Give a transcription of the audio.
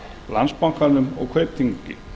landsbankanum og kaupþingi